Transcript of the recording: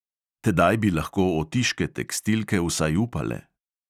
Tedaj bi lahko otiške tekstilke vsaj upale.